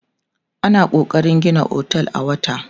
ana kokarin Gina otel a wata